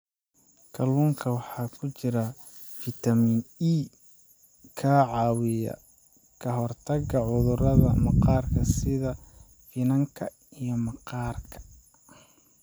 Kalluunka waxaa ku jira fiitamiin e ka caawiya ka hortagga cudurrada maqaarka sida finanka iyo maqaarka.